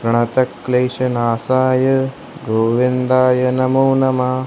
प्रणतह क्लेशनाशाय गोविंदाय नमो नम।